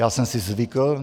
Já jsem si zvykl.